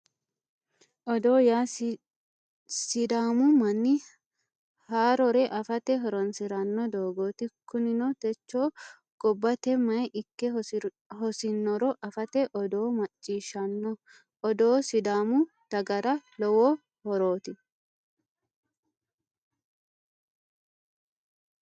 Odoo yaa sidaamu manni haaroro afate horoonsirano doogooti kunino techo gobbate mayi ikke hosinoro afate odoo macciishshanno odoo sidaamu dagara lowo horooti